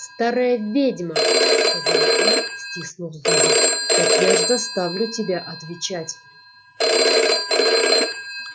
старая ведьма сказал он стиснув зубы так я ж заставлю тебя отвечать